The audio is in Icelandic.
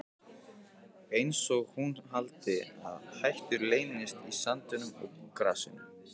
Einsog hún haldi að hættur leynist í sandinum og grasinu.